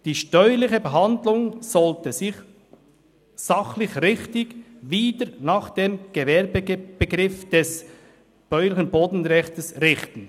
Die steuerliche Behandlung sollte sich – sachlich richtig – wieder nach dem Gewerbebegriff des BPG richten.»